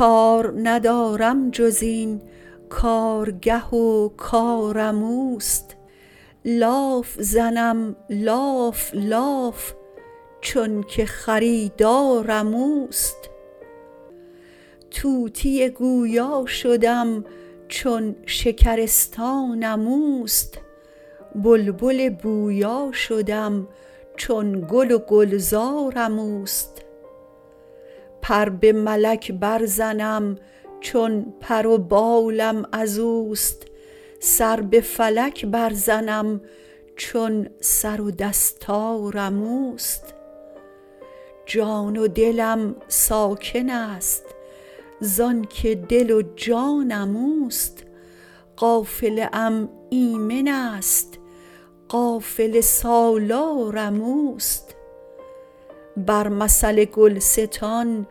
کار ندارم جز این کارگه و کارم اوست لاف زنم لاف لاف چونک خریدارم اوست طوطی گویا شدم چون شکرستانم اوست بلبل بویا شدم چون گل و گلزارم اوست پر به ملک برزنم چون پر و بالم از اوست سر به فلک برزنم چون سر و دستارم اوست جان و دلم ساکنست زانک دل و جانم اوست قافله ام ایمنست قافله سالارم اوست بر مثل گلستان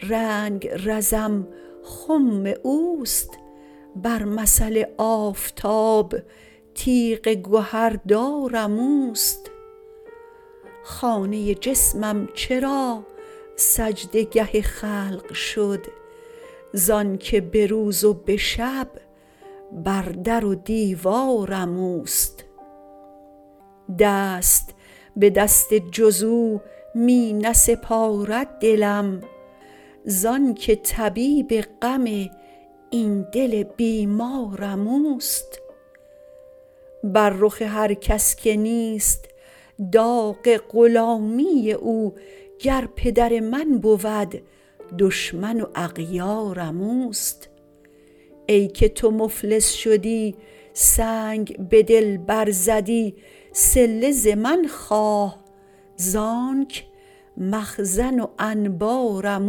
رنگرزم خم اوست بر مثل آفتاب تیغ گهردارم اوست خانه جسمم چرا سجده گه خلق شد زانک به روز و به شب بر در و دیوارم اوست دست به دست جز او می نسپارد دلم زانک طبیب غم این دل بیمارم اوست بر رخ هر کس که نیست داغ غلامی او گر پدر من بود دشمن و اغیارم اوست ای که تو مفلس شدی سنگ به دل برزدی صله ز من خواه زانک مخزن و انبارم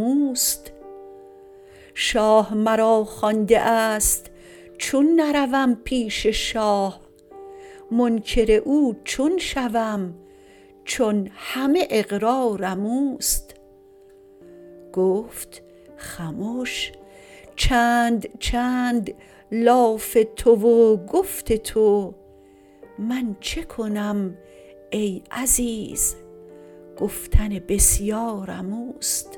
اوست شاه مرا خوانده است چون نروم پیش شاه منکر او چون شوم چون همه اقرارم اوست گفت خمش چند چند لاف تو و گفت تو من چه کنم ای عزیز گفتن بسیارم اوست